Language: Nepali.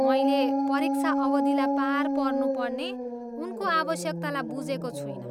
मैले परीक्षा अवधिलाई पार पर्नुपर्ने उनको आवश्यकतालाई बुझेको छुइनँ।